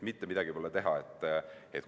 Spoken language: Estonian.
Mitte midagi pole teha.